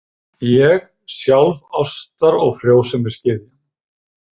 Ég, sjálf ástar- og frjósemisgyðjan!